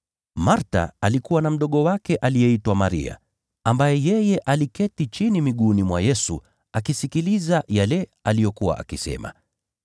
Martha alikuwa na mdogo wake aliyeitwa Maria, ambaye aliketi chini miguuni mwa Bwana akisikiliza yale aliyokuwa akisema.